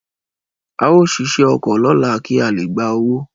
Ao sise oko lola ki a le gba owo